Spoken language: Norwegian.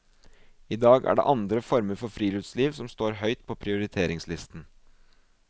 I dag er det andre former for friluftsliv som står høyt på prioriteringslisten.